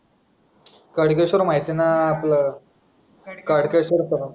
खडकेश्वर माहिती आहे ना आपलं खडकेश्वर